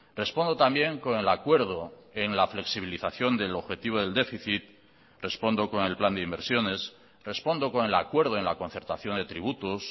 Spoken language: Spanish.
respondo también con el acuerdo en la flexibilización del objetivo del déficit respondo con el plan de inversiones respondo con el acuerdo en la concertación de tributos